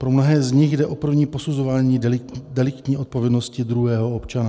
Pro mnohé z nich jde o první posuzování deliktní odpovědnosti druhého občana.